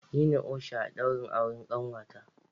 Nine osha a daurin auren kanwata.